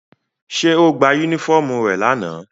Ṣé ó gba unifọmú rẹ̀ lana?